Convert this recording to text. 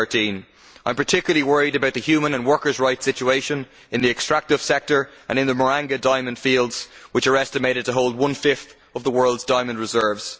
2013. I am particularly worried about the human and workers' rights situation in the extractive sector and in the Marange diamond fields which are estimated to hold one fifth of the world's diamond reserves.